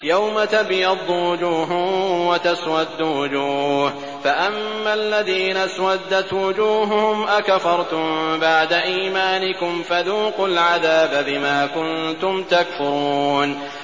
يَوْمَ تَبْيَضُّ وُجُوهٌ وَتَسْوَدُّ وُجُوهٌ ۚ فَأَمَّا الَّذِينَ اسْوَدَّتْ وُجُوهُهُمْ أَكَفَرْتُم بَعْدَ إِيمَانِكُمْ فَذُوقُوا الْعَذَابَ بِمَا كُنتُمْ تَكْفُرُونَ